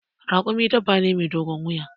Raƙumi dabba ne mai dogon wuya.